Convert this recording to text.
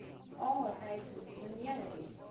অ চাইছো ধুনীয়া গাড়ী